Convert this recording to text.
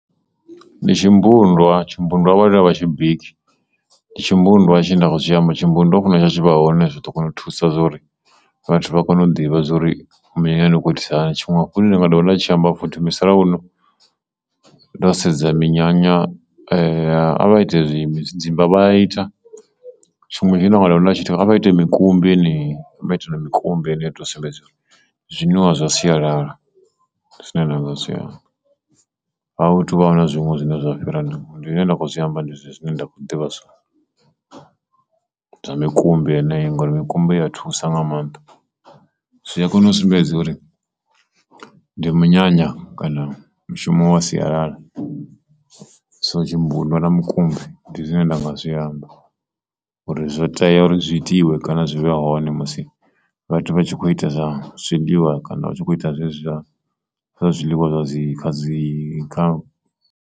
Ndi tshimbundwa tshimbundwa vhaone a vha tshi bika ndi tshimbundwa tshine nda khou tshi amba tshimbundwa ho funa tshi tshi vha hone zwiḓo kona u thusa kha uri vhathu vha kone u ḓivha zwori minyanyani hu khou itisa hani tshiṅwe tshine ndi nga dovha nda tshi amba futhi musalauno ndo sedza minyanya a vha ite tshidzimba vha a ita, tshiṅwe tshine vha nga dovha tshi ita a vha ite mikumbi yeneyi a vha ite na mikumbi zwoto sumbedza uri ndi zwinwiwa zwa sialala ndi zwine nda nga zwi amba a hu tu vha zwiṅwe zwine zwa nga fhira zwezwo zwine nda khou zwi amba ndi zwezwo zwine nda kho ḓivha zwone, zwa mikumbi yeneyo ngauri mikumbi i ya thusa nga mannḓa zwi a kona u sumbedza uri ndi munyanya kana mushumo wa sialala so tshimbundwa na mukumbi ndi zwine nda nga zwi amba uri zwo itea uri zwi itiwe musi vhathu vha kho ita zwa zwiḽiwa kana zwezwi zwa zwiḽiwa zwa dzi, zwa dzi .